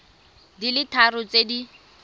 di le tharo tse di